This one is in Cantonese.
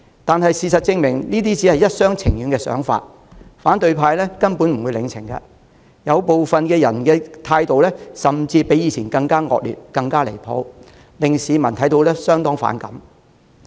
唯事實證明，這只是特首一廂情願，反對派根本不領情，部分人的態度甚至比以前更惡劣、更離譜，市民看在眼裏相當反感。